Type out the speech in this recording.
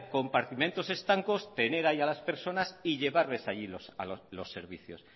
compartimentos estancos tener ahí a las personas y llevarles allí los servicios